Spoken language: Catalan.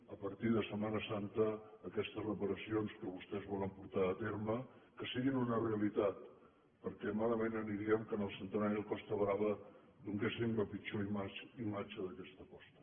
a partir de setmana santa aquestes reparacions que vostès volen portar a terme que siguin una realitat perquè malament aniríem que en el centenari de la cos·ta brava donéssim la pitjor imatge d’aquesta costa